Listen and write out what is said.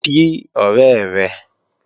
Kí ọ̀rẹ́ rẹ!